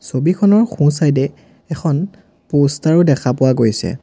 ছবিখনৰ সোঁ চাইড এ এখন প'ষ্টাৰ ও দেখা পোৱা গৈছে।